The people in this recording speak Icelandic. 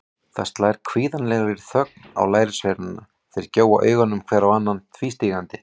Það slær kvíðvænlegri þögn á lærisveinana, þeir gjóa augunum hver á annan tvístígandi.